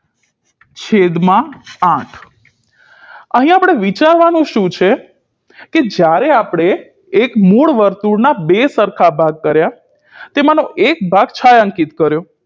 છેદમાં આઠ અહિયાં આપણે વિચારવાનું શું છે કે જ્યારે આપણે એક મૂળ વર્તુળના બે સરખા ભાગ કર્યા તેમાનો એક ભાગ છાંયાંકીત કર્યો